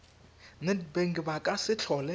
nedbank ba ka se tlhole